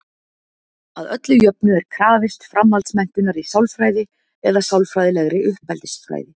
Að öllu jöfnu er krafist framhaldsmenntunar í sálfræði eða sálfræðilegri uppeldisfræði.